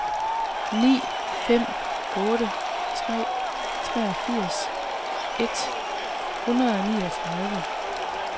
ni fem otte tre treogfirs et hundrede og niogtredive